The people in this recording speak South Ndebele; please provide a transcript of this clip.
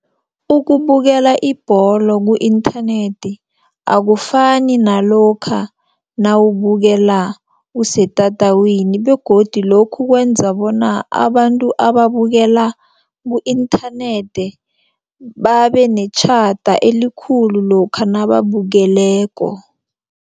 Ukubukela ibholo ku-internet akufani nalokha nawubukela usetatawini begodu lokhu kwenza bona abantu ababukela ku-internet babenetjhada elikhulu lokha nababukeleko.